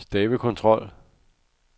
stavekontrol